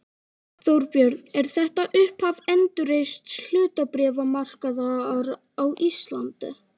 Þorbjörn: Er þetta upphaf endurreists hlutabréfamarkaðar á Íslandi?